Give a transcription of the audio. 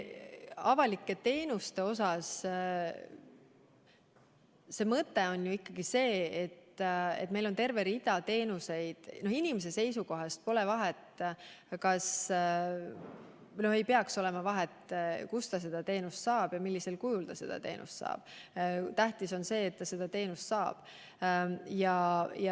Avalike teenuste puhul on mõte ikkagi selles, et inimese seisukohast pole vahet või ei peaks olema vahet, kus ta üht või teist teenust saab ja millisel kujul ta seda teenust saab, vaid tähtis on see, et ta seda teenust saab.